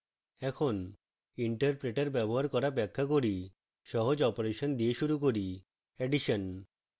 এখন interpreter ব্যবহার করা ব্যাখ্যা করি